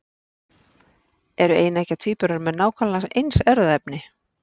Eru eineggja tvíburar með nákvæmlega eins erfðaefni?